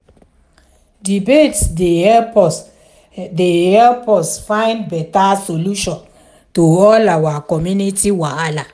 debates dey help us dey help us find beta solution to all our community wahala.